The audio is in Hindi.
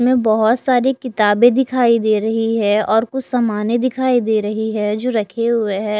इसमें बहोत सारी किताबे दिखाई दे रही है और कुछ समाने दिखाई दे रही है जो रखे हुए है।